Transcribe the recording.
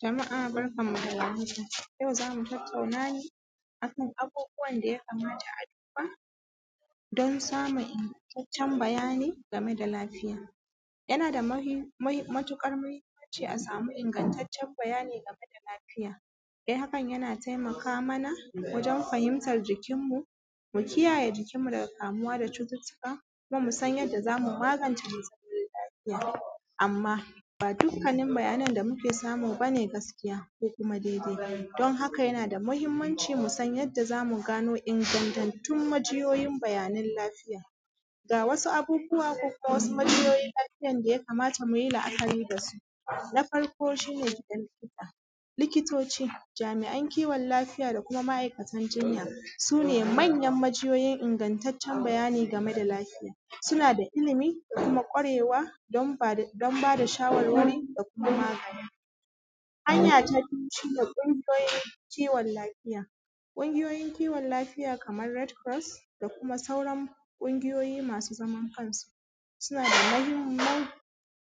Jama’a barkanmu dawar haka yau zamu tattauna ne akan abubuwan da kamata a duba don samun ingattaccen bayani gameda lafiya. Yana da matuƙar mahimmanci a samu ingantaccen bayani gameda lafiya. Dan hakan yana taimaka mana wajen fahimtan jikin mu mukiyaye jikin mu daga kamuwa da cututtuka kuma musan yanda zamu magance jikin mare lafiya. Amma ba dukkanin bayanan da muke samu bane gaskiya dan haka yanada mahimman musan yanda zamu gano ingattatun majiyoyin bayanan lafiya, ga wasu abubuwa ko kuma kajiyoyin lafiyan da yakamata muyi amfani dasu. Na farko shine muga likita, likitoci jami’an lafiya da kuma ma’aikatan jinya sunemanyan majiyoyin ingattacen bayani game da lafiya, sunada ilimi da kuma kwarewa dan bada shawarwari da kuma. Hanya ta biyu shine kungiyoyin kiwon lafiya. Kungiyoyin kiwon alfiya Kaman ret kuros da kuma sauran kungiyoyi masu zaman kansu sunada mahimman